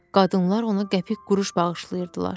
Qadınlar ona qəpik-quruş bağışlayırdılar.